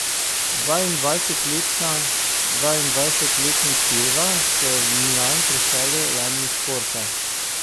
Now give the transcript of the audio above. Dvaindvajsetletni Silva se je v Milan preselil lani iz Porta.